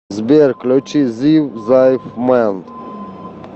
сбер включи зив зайфмэн